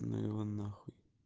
ну его нахуй